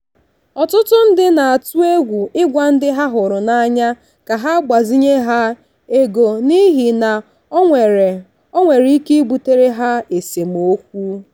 ọtụtụ ndị na-atụ egwu ịgwa ndị ha hụrụ n'anya ka ha gbazinye ha ego n'ihi na ọ nwere ọ nwere ike ibutere ha esemokwu.